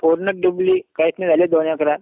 पूर्ण डुबली, काहीच नाही झाली दोन एकरात.